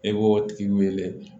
E b'o tigi wele